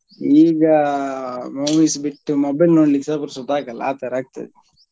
ಈಗ movies ಬಿಟ್ಟು mobile ನೋಡ್ಲಿಕ್ಕೆಸ ಪುರ್ಸೋತ್ ಆಗಲ್ಲ ಆತರ ಆಗ್ತದೆ.